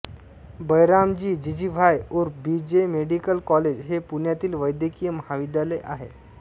बैरामजी जीजीभॉय ऊर्फ B J medical college हे पुण्यातील वैद्यकीय महाविद्यालय आहे